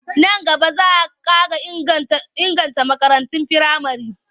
Nan gaba za a ƙara inganta makarantun firamare.